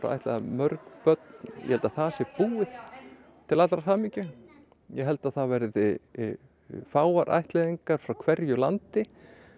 ættleiða mörg börn ég held að það sé búið til allrar hamingju ég held að það verði fáar ættleiðingar frá hverju landi